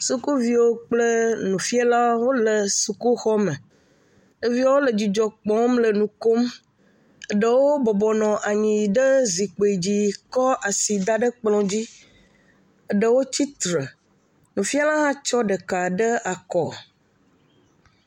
Sukuviwo kple nufialawo wole sukuxɔme. Ɖeviwo le dzidzɔ kpɔɔm le nu kom. Eɖewo bɔbɔ nɔ anyi ɖe zikpi dzi kɔ asi da ɖe kplɔ̃ dzi. Eɖewo tsi tre. Nufiala hã tsɔ ɖeka ɖe akɔ.